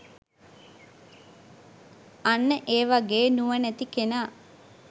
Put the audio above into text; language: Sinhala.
අන්න ඒ වගේ නුවණැති කෙනා